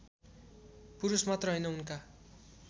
पुरुषमात्र हैन उनका